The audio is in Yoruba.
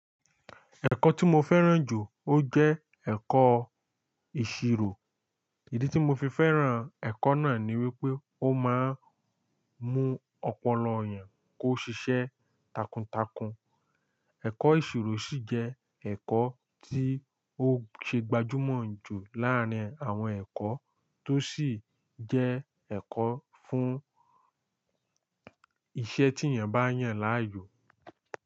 Ẹ̀kọ́ tí mo fẹ́ràn jù ó jẹ́ ẹ̀kọ́ ìṣirò. Ìdí tí mo fi fẹ́ràn ẹ̀kọ́ náà ni wí pé ó máa ń mú ọpọlọ èèyàn kó ṣiṣẹ́ takuntakun. Ẹ̀kọ́ ìṣirò ṣì jẹ́ ẹ̀kọ́ tí ó ṣe gbajúmọ̀ jù láàárín àwọn ẹ̀kọ́, tó sì jẹ́ ẹ̀kọ́ fún iṣẹ́ tí èèyàn bá yàn láàyò.